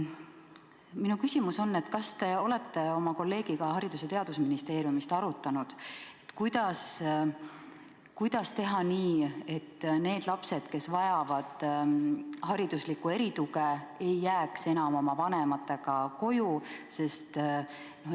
Minu küsimus on: kas te olete oma kolleegiga Haridus- ja Teadusministeeriumist arutanud, kuidas teha nii, et need lapsed, kes vajavad hariduslikku erituge, ei jääks enam vanematega koju?